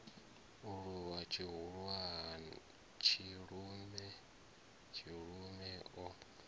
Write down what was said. u luvha tshilume tshilume o